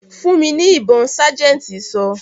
"Fún mi ní ibon' sájẹ̀ntì sọ.